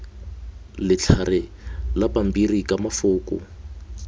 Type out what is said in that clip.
letlhare la pampiri ka mafoko